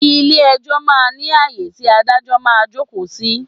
Ilẹ̀ ẹjọ́ máa ń ní ayé tí Ádájọ́ máa ń jókòó sí.